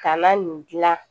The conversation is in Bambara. Kana nin dilan